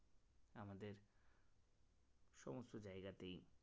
সমস্ত জায়গাতেই